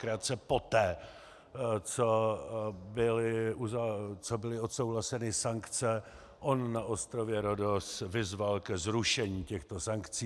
Krátce poté, co byly odsouhlaseny sankce, on na ostrově Rhodos vyzval ke zrušení těchto sankcí.